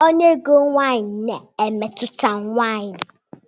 Ọnụ ego nwunye na-emetụta nwanyị.